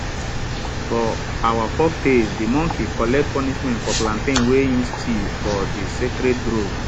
for our folktales de monkey collect punishment for plantain wey im steal for de sacred grove